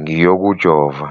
ngiyokujova?